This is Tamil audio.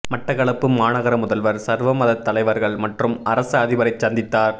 மட்டக்களப்பு மாநகர முதல்வர் சர்வமதத் தலைவர்கள் மற்றும் அரச அதிபரைச் சந்தித்தார்